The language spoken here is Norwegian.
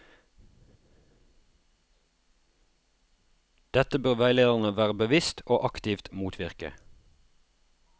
Dette bør veilederne være bevisst og aktivt motvirke.